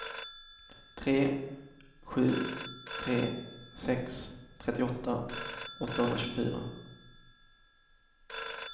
tre sju tre sex trettioåtta åttahundratjugofyra